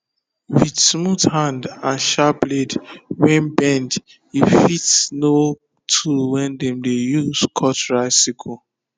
with smooth hand and sharp blade wey bend u fit know tool wey dem dey use cut rice sickle